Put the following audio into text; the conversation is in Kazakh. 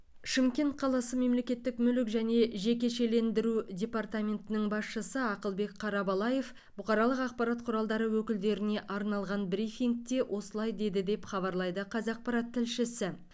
шымкент қаласы мемлекеттік мүлік және жекешелендіру департаментінің басшысы ақылбек қарабалаев бұқаралық ақпарат құралдары өкілдеріне арналған брифингте осылай деді деп хабарлайды қазақпарат тілшісі